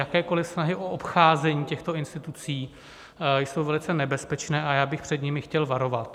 Jakékoliv snahy o obcházení těchto institucí jsou velice nebezpečné a já bych před nimi chtěl varovat.